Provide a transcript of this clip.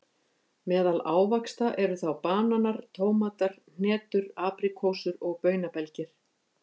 Meðal ávaxta eru þá bananar, tómatar, hnetur, apríkósur og baunabelgir.